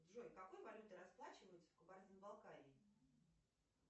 джой какой валютой расплачиваются в кабардино балкарии